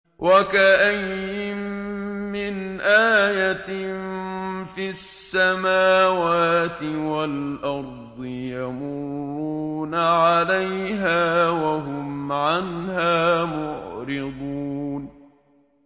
وَكَأَيِّن مِّنْ آيَةٍ فِي السَّمَاوَاتِ وَالْأَرْضِ يَمُرُّونَ عَلَيْهَا وَهُمْ عَنْهَا مُعْرِضُونَ